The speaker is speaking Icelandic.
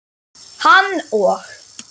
Hann og